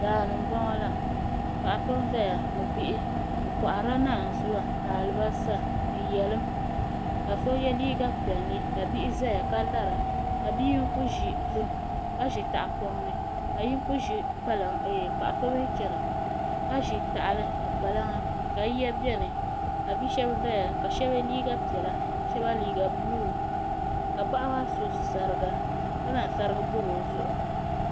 daani n boŋo la paɣa so n ʒɛya ni bihi o koharila naanzuwa ni alibarisa ni yɛlim ka so yɛ liiga piɛlli ka bihi ʒɛya ka lara ka bia yinga ʒi zim ka ʒi tahapoŋ ni ka paɣa so mii chɛna ka ʒi tahali ni kpalaŋa ka bia shab ʒɛya ka shab yɛ liiga piɛla shab liiga buluu ka paɣa maa so sariga ka zaŋ sarigi bob o zuɣu